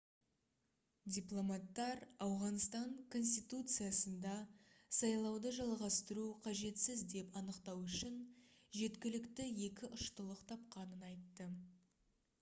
дипломаттар ауғанстан конституциясында сайлауды жалғастыру қажетсіз деп анықтау үшін жеткілікті екі ұштылық тапқанын айтты